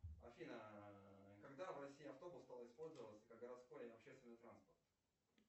афина когда в россии автобус стал использоваться как городской общественный транспорт